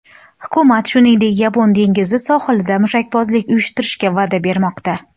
Hukumat, shuningdek, Yapon dengizi sohilida mushakbozlik uyushtirishga va’da bermoqda.